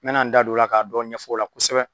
Me na n da don o la k'a dɔ ɲɛfɔ o la kosɛbɛ.